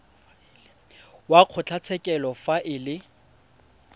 wa kgotlatshekelo fa e le